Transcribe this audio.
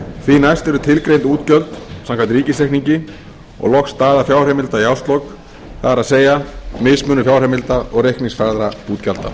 því næst eru tilgreind útgjöld samkvæmt ríkisreikningi og loks staða fjárheimilda í árslok það er mismunur fjárheimilda og reikningsfærðra útgjalda